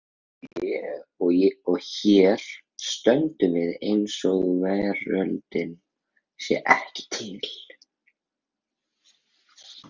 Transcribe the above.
Og hér stöndum við eins og veröldin sé ekki til.